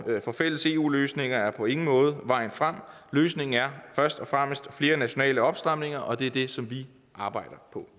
for fælles eu løsninger er på ingen måde vejen frem løsningen er først og fremmest flere nationale opstramninger og det er det som vi arbejder på